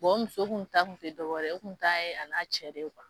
Bon o muso tun tɛ dɔ wɛrɛ ye, o kun ta ye a n'a cɛ de kuwa!